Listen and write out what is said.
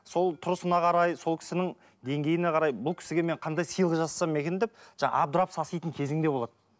сол тұрысына қарай сол кісінің деңгейіне қарай бұл кісіге мен қандай сыйлық жасасам екен деп абдырап саситын кезің де болады